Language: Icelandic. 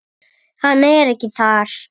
Hann ekki þar.